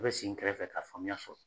U bɛ sin n kɛrɛfɛ ka faamuya sɔrɔ.